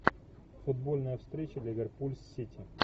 футбольная встреча ливерпуль с сити